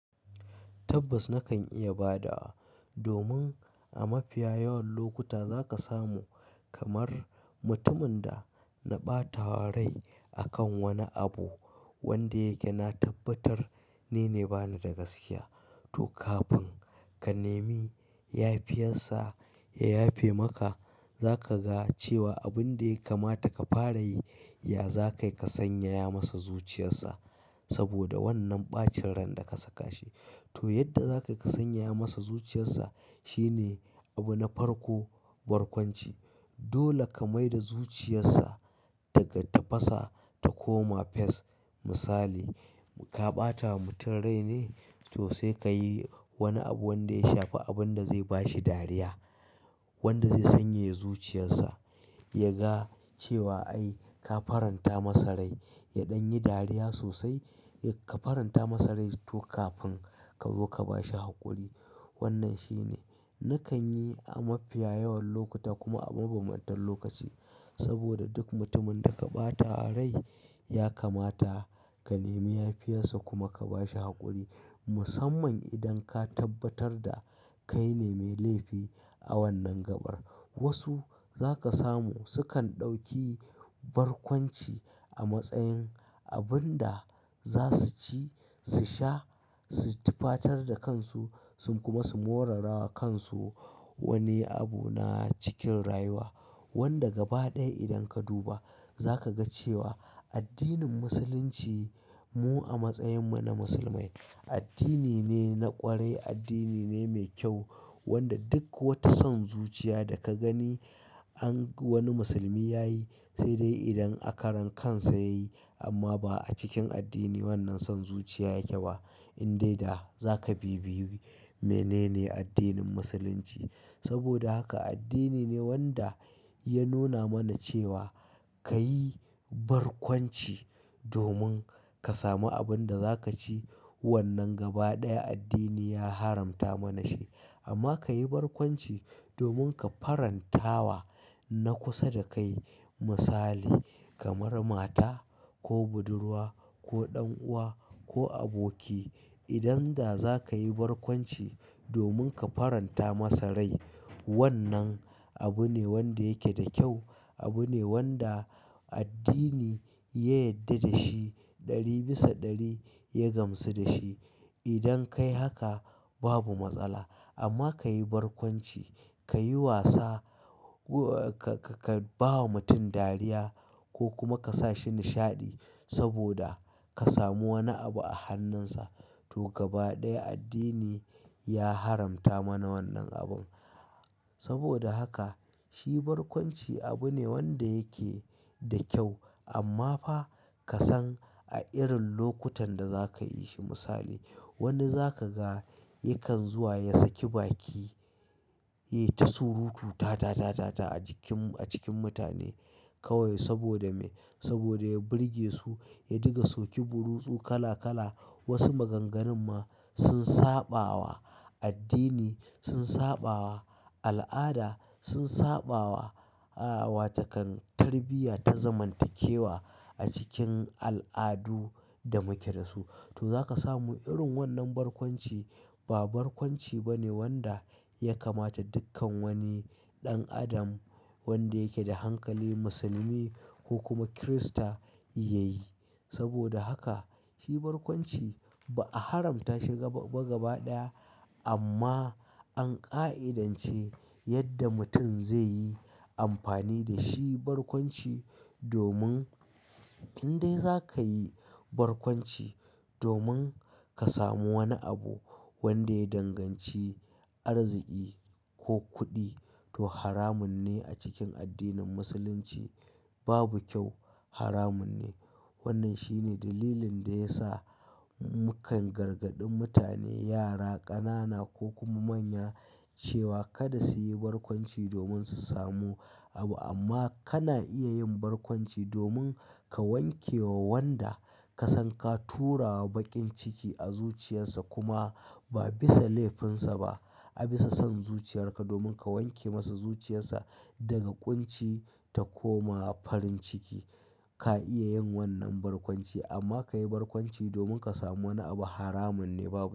Tabbas nakan iya ba da wa domin a mafiya yawan lokuta za ka samu kamar mutumin da na ɓata wa rai akan wani abu wanda yake na tabbatar nine bani da gaskiya. To kafin ka nemi yafiya sa ya yafe maka, za ka ga cewa abun da ya kamata ka fara yi, ya za ka yi ka sanyaya masa zuciyarsa saboda wannan ɓacin ran da ka saka shi. To yadda za ka sanyaya masa zuciyarsa shine abu na farko, barkwanci. Dole ka mai da zuciyarsa daga tafasa ta koma fes. Misali, ka ɓata wa mutum rai ne, to sai ka yi wani abu wanda ya shafi abun da zai ba shi dariya wanda zai sanyaya zuciyarsa. Ya ga cewa ai ka faranta masa rai, ya ɗan yi dariya sosai. Ka faranta masa rai to kafin ka zo ka ba shi haƙuri. Wannan shine nakan yi a mafiya yawan lokuta kuma a mabanbantan lokaci saboda duk mutumin da ka ɓata wa rai ya kamata ka nemi ya fiya sa kuma ka ba shi haƙuri. Musamman idan ka tabbatar da kai ne mai laifi a wannan gabar. Wasu za ka samu sukan ɗauki barkwanci a matsayin abun da za su ci, su sha, su tufatar da kansu sun kuma morarawa kansu wani abu na cikin rayuwa wanda gaba ɗaya idan ka duba za ka ga cewa addinin Musulunci mu a matsayin mu na musulmai, addini ne na ƙwarai, addini ne mai kyau wanda duk wata son zuciya da ka gani an wani musulmi ya yi, sai dai idan a karan kansa ya yi amma ba a cikin addini wannan son zuciya yake ba. In dai da za ka bibiyi menene addinin Musulunci. Saboda haka addini ne wanda ya nuna mana cewa ka yi barkwanci domin ka sami abun da za ka ci. Wannan gaba ɗaya addini ya haramta mana shi amma ka yi barkwanci domin ka faranta wa na kusa da kai misali kamar mata ko budurwa ko ɗan'uwa ko aboki. Idan da za ka yi barkwanci domin ka faranta masa rai, wannan abu ne wanda yake da kyau. Abu ne wanda addini ya yadda da shi ɗari bisa ɗari ya gamsu da shi. Idan ka yi haka babu matsala amma ka yi barkwanci, ka yi wasa, ka-ka bawa mutum dariya ko kuma ka sa shi nishaɗi saboda ka samu wani abu a hannunsa. To gaba ɗaya addini ya haramta mana wannan abun. Saboda haka shi barkwanci abu ne wanda yake da kyau amma fa ka san a irin lokutan da za ka yi shi. Misali, wani za ka ga yakan zuwa ya saki baki ya yi ta surutu ta ta ta ta a jikin a cikin mutane kawai saboda me? Saboda ya birge su, ya diga soki burutsu kala kala. Wasu maganganu ma sun saba wa addini, sun saba wa al'ada, sun saba wa, ah, wata kan tarbiyya ta zamantakewa a cikin al'adu da muke da su. To za ka samu irin wannan barkwanci ba barkwanci ba ne wanda ya kamata dukkan wani ɗan adam wanda yake da hankali musulmi ko kuma kirista ya yi. Saboda haka shi barkwanci ba a haramta shi ba gaba ɗaya amma an ƙa'idance yadda mutum zai yi amfani da shi barkwanci domin in dai za ka yi barkwanci domin ka samu wani abu wanda ya danganci arziki ko kuɗi to haramun ne a cikin addinin musulunci babu kyau haramun ne. Wannan shine dalilin da ya sa mukan gargaɗi mutane, yara, ƙanana ko kuma manya cewa kada su yi barkwanci domin su samu abu amma kana iya yin barkwanci domin ka wanke wa wanda ka san ka tura wa baƙin ciki a zuciyarsa kuma ba bisa laifinsa ba. A bisa son zuciyarka domin ka wanke masa zuciyarsa daga ƙunci ta koma farin ciki. Ka iya yin wannan barkwanci amma ka yi barkwanci domin ka samu wani abu haramun ne babu kyau.